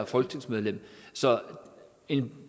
folketingsmedlemmer så en